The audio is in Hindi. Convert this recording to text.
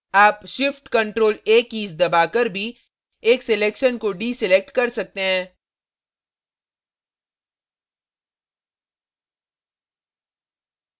आप shift + ctrl + a कीज़ दबाकर भी एक selection को डीselection कर सकते हैं